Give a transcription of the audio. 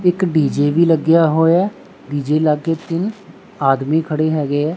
ਇੱਕ ਡੀ_ਜੇ ਵੀ ਲੱਗੇਆ ਹੋਇਆ ਡੀ_ਜੇ ਲੱਗੇ ਤਿੰਨ ਆਦਮੀ ਖੜੇ ਹੈਗੇ ਐ।